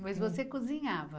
Mas você cozinhava?